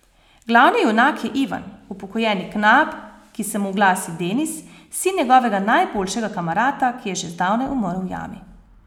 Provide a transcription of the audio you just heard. Glavni junak je Ivan, upokojeni knap, ki se mu oglasi Denis, sin njegovega najboljšega kamarata, ki je že zdavnaj umrl v jami.